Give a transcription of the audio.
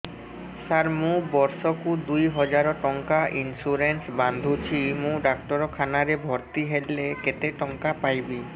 ସାର ମୁ ବର୍ଷ କୁ ଦୁଇ ହଜାର ଟଙ୍କା ଇନ୍ସୁରେନ୍ସ ବାନ୍ଧୁଛି ମୁ ଡାକ୍ତରଖାନା ରେ ଭର୍ତ୍ତିହେଲେ କେତେଟଙ୍କା ପାଇବି